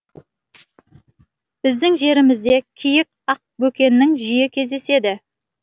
біздің жерімізде киік ақбөкендер жиі кездеседі